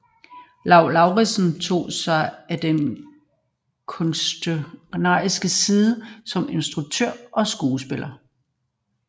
Lau Lauritzen tog sig af den kunstneriske side som instruktør og skuespiller